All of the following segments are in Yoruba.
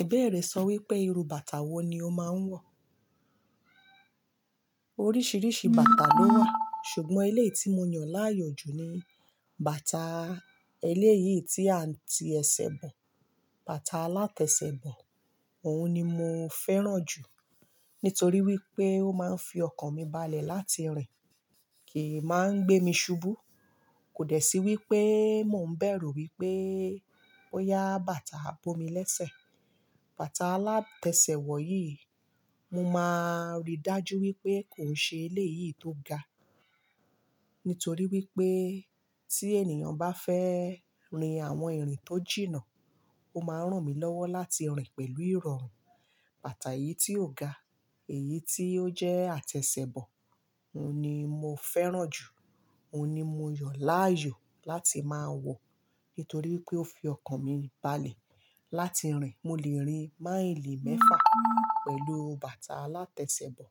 Ibẹ́ẹ̀rẹ̀, sọ wípé irú bàtà wo ni o máa ń wọ̀? Oríṣiríṣi bàtà ló wà, ṣùgbọ́n eléyìí tí mo yàn láàyò jù ni bàtà eléyìí tí a ń ti ẹsẹ̀ bọ̀, bàtà alátẹsẹ̀ bọ̀. Òun ni mo fẹ́ràn jù nítorí wípé ó máa ń fi ọkàn mi balẹ̀ láti rìn, kì í máa ń gbé mi ṣubú. Kò dẹ̀ sí wípé mo ń bẹ̀rù wípé bóyá bàtà bomi lésẹ̀. Bàtà alátẹsẹ̀ wọ̀ yìí, mo máa rí dájú wípé kò ṣe eléyìí tó ga. Nítorí wípé tí ènìyàn bá fẹ́ rin àwọn ìrìn tó jìnnà, ó máa ń ràn mí lọ́wọ́ láti rìn pẹ̀lú ìrọ̀rùn. Bàtà yìí tí ó ga, èyí tí ó jẹ́ àtẹsẹ̀bọ̀, òun ni mo fẹ́ràn jù. Òun ni mo yàn láàyò láti máa wọ̀ nítorí wípé ó fi ọkàn mi balẹ̀ láti rìn. Mo lè rin máìlì mẹ́fà pẹ̀lú bàtà alátẹsẹ̀bọ̀.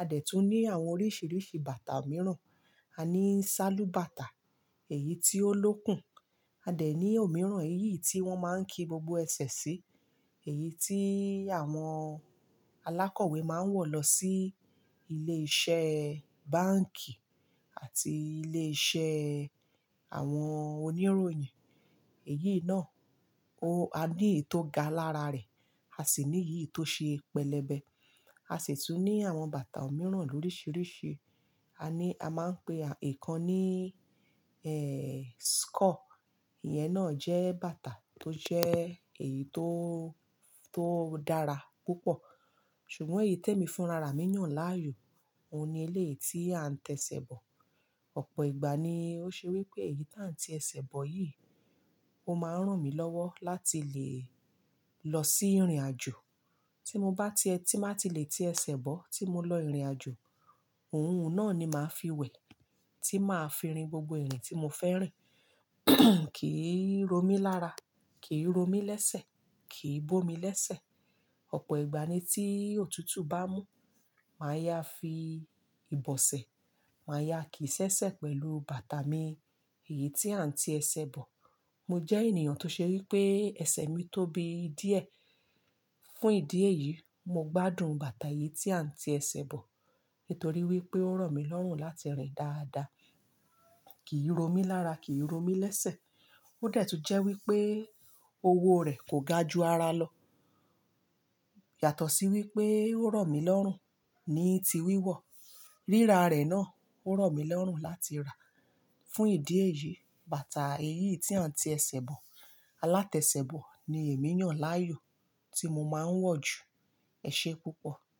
A dẹ̀ tún ní àwọn oríṣiríṣi bàtà mìíràn. A ní sálú bàtà, èyí tí ó lókùn. A dẹ̀ ní òmíràn, èyí tí wọ́n máa ń ki gbogbo ẹsẹ̀ sí, èyí tí àwọn alákọ̀wé máa ń wọ̀ lọ sí ilé iṣẹ́ báǹkì àti ilé iṣẹ́ àwọn oníròyìn. Èyí náà, a ní èyí tó ga lára rẹ̀, a sì ní èyí tó ṣe pẹlẹbẹ. A sì tún ní àwọn bàtà mìíràn loríṣiríṣi. A ní, a máa ń pe ikan ní, ẹ́, "skọ̀". Ìyẹn náà jẹ́ bàtà tó jẹ́ èyí tó, tó dára púpọ̀. Ṣùgbọ́n èyí tẹ́ mi fún rara mi yàn láàyò, òun ni eléyìí tí a ń tẹsẹ̀bọ̀. Ọ̀pọ̀ ìgbà ni ó ṣe wípé èyí tí à ń ti ẹsẹ̀ bọ̀ yìí, ó máa ń ràn mí lọ́wọ́ láti lè lọ sí ìrìn àjò. Tí mo bá ti, tí màá ti lè ti ẹsẹ̀ bọ̀ tí mo lọ ìrìnàjò, òun náà ni màá fi wẹ̀, tí màá fi rin gbogbo ìrìn tí mo fẹ́ rìn, kìí ro mí lára, kì í ro mí lésẹ̀, kìí bomi lésẹ̀. Ọ̀pọ̀ ìgbà ni tí òtútù bá mú, màá yá fi ìbọ̀sẹ̀, màá yá kìí ṣẹṣẹ pẹ̀lú bàtà mi, èyí tí à ń ti ẹsẹ̀ bọ̀. Mo jẹ́ ènìyàn tó ṣe wípé ẹsẹ̀ mi tóbi díẹ̀. Fún ìdí èyí, mo gbádùn bàtà yìí tí à ń ti ẹsẹ̀ bọ̀ nítorí wípé ó ràn mí lọ́rùn láti rìn dáadáa. Kìí ro mí lára, kìí ro mí lésẹ̀. Ó dẹ̀ tún jẹ́ wípé owó rẹ̀ kò ga ju ara lọ. Yàtọ̀ sí wípé ó ro mí lọ́rùn ní ti wíwọ̀. Ríra rẹ̀ náà ó ro mí lọ́rùn láti rà. Fún ìdí èyí, bàtà èyí tí à ń ti ẹsẹ̀ bọ̀, alátẹsẹ̀bọ̀ ni èmi yàn láàyò tí mo máa ń wọ̀ jù. Ẹ̀ṣé púpọ̀.